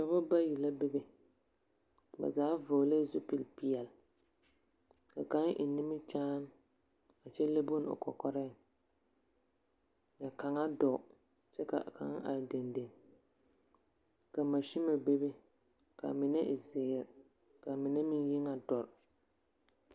Dɔba bayi la bebe. Ba zaa vɔgelɛɛ zupili peɛle. Ka kaŋ eŋ nimkyaane a kyɛ le bone o kɔkɔrɛɛŋ ka kaŋa dɔɔ kyɛ ka kaŋa are dendeŋe. Ka mansime bebe. ka a mine e zeere ka mine meŋ yi ŋa doɔre.